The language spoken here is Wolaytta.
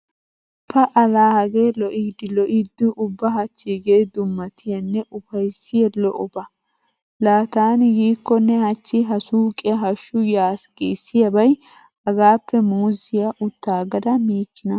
Pa"a laa hagee lo'iiddi lo'iidi ubba hachchiigee dummatiyanne ufayssiya lo'oba. Laa taani yiikkonne hachchi ha suuqiya hashshu yaasi giissiyabay hagaappe muuzziya uttaaggada miikkinaa.